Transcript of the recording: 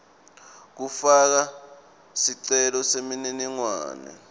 kufaka sicelo semininingwane